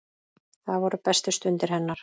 Það voru bestu stundir hennar.